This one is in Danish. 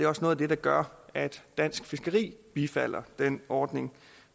også noget af det der gør at dansk fiskeri bifalder den ordning